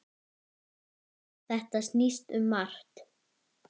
Þetta snýst um margt.